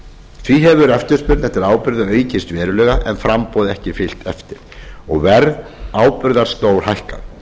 því hefur eftirspurn eftir áburði aukist verulega en framboð ekki fylgt eftir og verð áburðar stórhækkað